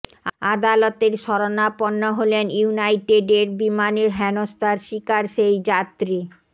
আদালতের শরণাপন্ন হলেন ইউনাইটেডের বিমানে হেনস্থার শিকার সেই যাত্রী